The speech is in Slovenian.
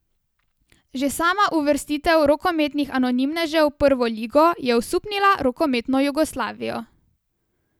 Že sama uvrstitev rokometnih anonimnežev v prvo ligo je osupnila rokometno Jugoslavijo.